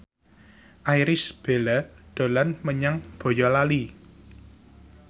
Irish Bella dolan menyang Boyolali